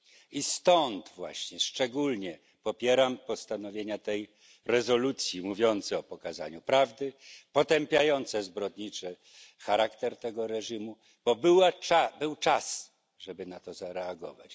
I dlatego właśnie szczególnie popieram postanowienia tej rezolucji mówiące o pokazaniu prawdy, potępiające zbrodniczy charakter tego reżimu, bo był czas, żeby na to zareagować.